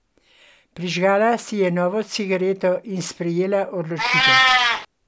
Prižgala si je novo cigareto in sprejela odločitev.